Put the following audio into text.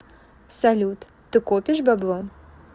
салют ты копишь бабло